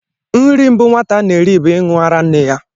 Nri mbụ nwata na-eri bụ ịṅụ ara nne ya